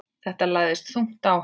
Þetta lagðist þungt á hann.